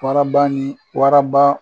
Waraba ni waraba